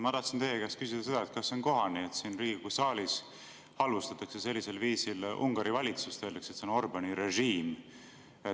Ma tahtsin teie käest küsida seda, et kas on kohane, et siin Riigikogu saalis halvustatakse sellisel viisil Ungari valitsust ja öeldakse, et see on Orbáni režiim.